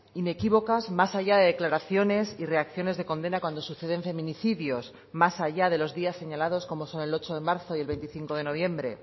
inequívocas más allá de declaraciones y reacciones de condena cuando suceden feminicidios más allá de los días señalados como son el ocho de marzo y el veinticinco de noviembre